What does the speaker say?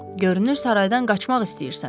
Görünür saraydan qaçmaq istəyirsən.